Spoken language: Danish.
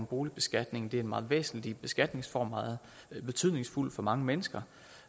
boligbeskatningen det er en meget væsentlig beskatningsform meget betydningsfuld for mange mennesker